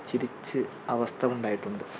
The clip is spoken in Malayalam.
ചിരിച്ച് അവസ്ഥ ഉണ്ടായിട്ടുണ്ട്.